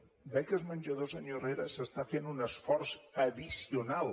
en beques menjador senyor herrera s’està fent un esforç addicional